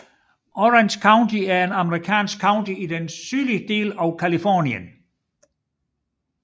Orange County er et amerikansk county i den sydlige del af Californien